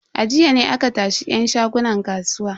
A jiya ne aka tashi yan shagunan kasuwa.